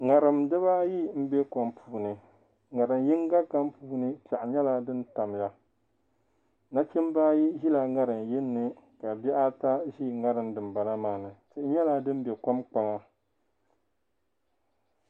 ŋariŋ diba ayi m be kom puuni. ŋariŋ yiŋga kam puuni pɛɣu nyala din tamya nachimba ayi zila ŋariŋ yin ni. ka bihi ata zi ŋariŋ dim bala maani tihi nyala dim be kom kpaŋa.